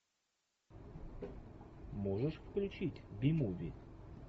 можешь включить би муви